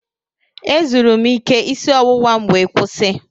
Ezuru m ike isi ọwụwa m wee kwụsị.